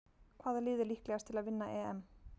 Hvaða lið er líklegast til að vinna EM?